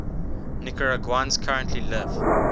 nicaraguans currently live